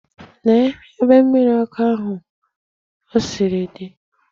Lee ebe mmiri ọkụ ahụ o siri di!